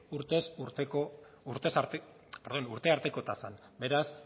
urte arteko tasan beraz